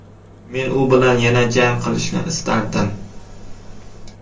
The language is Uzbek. Men u bilan yana jang qilishni istardim.